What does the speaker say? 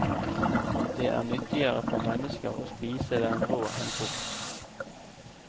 Det er nyttigere for mennesker å spise den rå enn kokt.